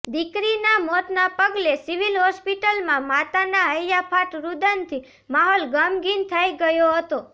દીકરીના મોતના પગલે સિવિલ હોસ્પિટલમાં માતાના હૈયાફાટ રૂદનથી માહોલ ગમગીન થઈ ગયો હતો